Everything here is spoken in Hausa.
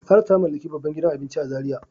Saratu ta mallaki babban gidan abinci a Zaria.